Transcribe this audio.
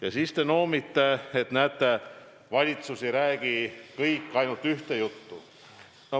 Aga te noomite, et näete, valitsuses ei räägi kõik ainult ühte juttu.